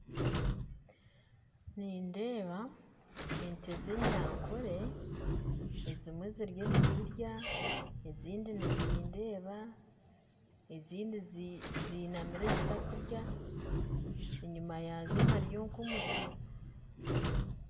Nindeeba ente z'enyankore ezimwe ziriyo nizirya ezindi nizindeeba ezindi zinamire zitakurya enyima yaazo hariyo nk'omuti